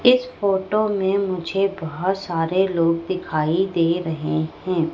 इस फोटो में मुझे बहोत सारे लोग दिखाई दे रहे हैं।